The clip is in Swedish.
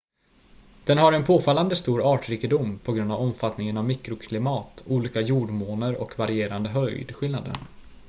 den har en påfallande stor artrikedom på grund av omfattningen av mikroklimat olika jordmåner och varierande höjdskillnader